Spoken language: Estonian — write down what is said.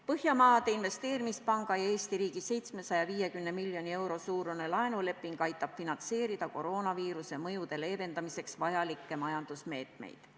Põhjamaade Investeerimispanga ja Eesti riigi 750 miljoni euro suurune laenuleping aitab finantseerida koroonaviiruse mõjude leevendamiseks vajalikke majandusmeetmeid.